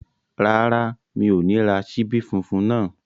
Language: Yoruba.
Rárá, mi ò ní ra ṣíbí funfun náà